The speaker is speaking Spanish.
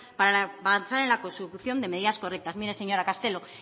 para avanzar en la consecución de medidas correctas mire señora castelo